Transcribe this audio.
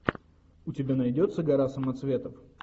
у тебя найдется гора самоцветов